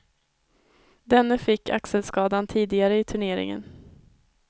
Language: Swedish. Denne fick axelskadan tidigare i turneringen.